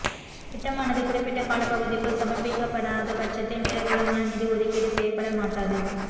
திட்டமானது குறிப்பிட்ட காலப்பகுதிக்குள் சமர்ப்பிக்கப்படாத பட்சத்தில் மேலதிகமான நிதி ஒதுக்கீடு செய்யப்படமாட்டாது